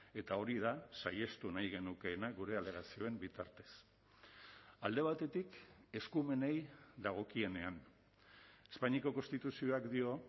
eta hori da saihestu nahi genukeena gure alegazioen bitartez alde batetik eskumenei dagokienean espainiako konstituzioak dio